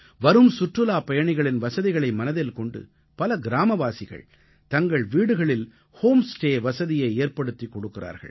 வரும் சுற்றுலாப் பயணிகளின் வசதிகளை மனதின் கொண்டு பல கிராமவாசிகள் தங்கள் வீடுகளில் ஹோம் ஸ்டே வசதியை ஏற்படுத்திக் கொடுக்கிறார்கள்